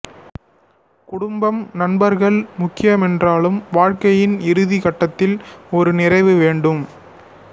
குடும்பம் நண்பர்கள் முக்கியமென்றாலும் வாழ்க்கையின் இறுதி கட்டத்தில் ஒரு நிறைவு வேண்டும்